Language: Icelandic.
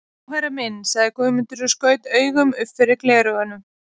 Já herra minn, sagði Guðmundur og skaut augum upp fyrir gleraugun.